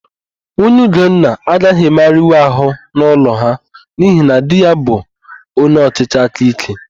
Nwunye Ugonna agaghị emegharịnwu àhụ́ n'ụlọ ha n'ihi na di ya bụ onyeọchịchị aka íké.